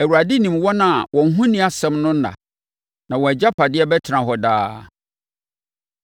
Awurade nim wɔn a wɔn ho nni asɛm no nna, na wɔn agyapadeɛ bɛtena hɔ daa.